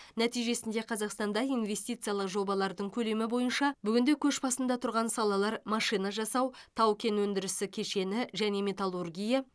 нәтижесінде қазақстанда инвестициялық жобалар көлемі бойынша бүгінде көш басында тұрған салалар машина жасау тау кен өндірісі кешені және металлургия